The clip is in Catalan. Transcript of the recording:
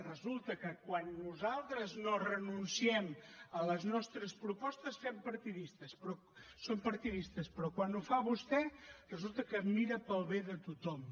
resulta que quan nosaltres no renunciem a les nostres propostes som partidistes però quan ho fa vostè resulta que mira pel bé de tothom